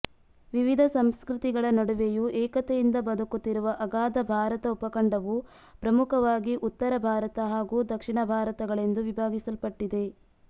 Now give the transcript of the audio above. ವಿವಿಧ ಸಂಸ್ಕೃತಿಗಳ ನಡುವೆಯೂ ಏಕತೆಯಿಂದ ಬದುಕುತ್ತಿರುವ ಅಗಾಧ ಭಾರತ ಉಪಖಂಡವು ಪ್ರಮುಖವಾಗಿ ಉತ್ತರ ಭಾರತ ಹಾಗು ದಕ್ಷಿಣ ಭಾರತಗಳೆಂದು ವಿಭಾಗಿಸಲ್ಪಟ್ಟಿದೆ